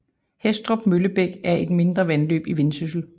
Hæstrup Møllebæk er mindre et vandløb i Vendsyssel